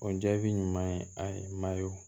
O jaabi ɲuman ye a ye